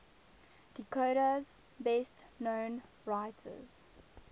dakota's best known writers